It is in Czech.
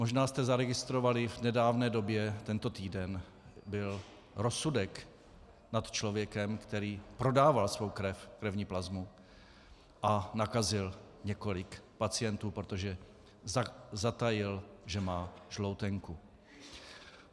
Možná jste zaregistrovali v nedávné době, tento týden byl rozsudek nad člověkem, který prodával svou krev, krevní plazmu, a nakazil několik pacientů, protože zatajil, že má žloutenku.